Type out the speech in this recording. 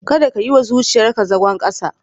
Kada ka yi wa zuciyarka zagon kasa.